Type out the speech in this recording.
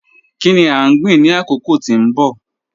Kini a gbin ni akoko ti n bọ?